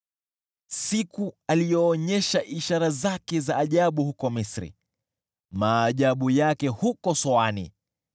siku aliyoonyesha ishara zake za ajabu huko Misri, maajabu yake huko Soani.